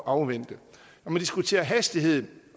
afvente når man diskuterer hastigheden